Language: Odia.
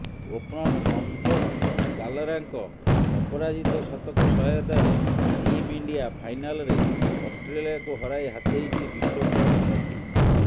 ଓପନର ମନଜୋତ କାଲରାଙ୍କ ଅପରାଜିତ ଶତକ ସହାୟତାରେ ଟିମ୍ ଇଣ୍ଡିଆ ଫାଇନାଲରେ ଅଷ୍ଟ୍ରେଲିଆକୁ ହରାଇ ହାତେଇଛି ବିଶ୍ୱକପ୍ ଟ୍ରଫି